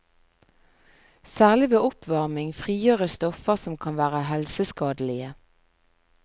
Særlig ved oppvarming frigjøres stoffer som kan være helseskadelige.